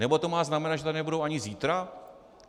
Nebo to má znamenat, že tady nebudou ani zítra?